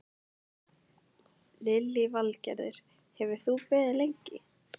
Lillý Valgerður: Hefur þú beðið lengi?